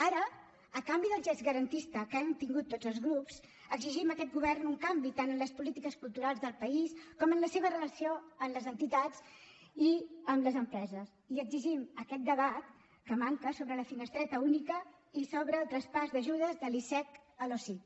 ara a canvi del gest garantista que hem tingut tots els grups exigim a aquest govern un canvi tant en les polítiques culturals del país com en la seva relació amb les entitats i amb les empreses i exigim aquest debat que manca sobre la finestreta única i sobre el traspàs d’ajudes del icec a l’osic